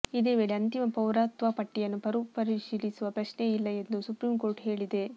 ಇದೇ ವೇಳೆ ಅಂತಿಮ ಪೌರತ್ವಪಟ್ಟಿಯನ್ನು ಮರುಪರಿಶೀಲಿಸುವ ಪ್ರಶ್ನೆಯೇ ಇಲ್ಲ ಎಂದು ಸುಪ್ರೀಂಕೋರ್ಟು ಹೇಳಿದೆ